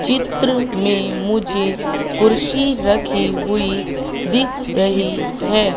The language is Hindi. चित्र में मुझे कुर्सी रखी हुई दिख रही है।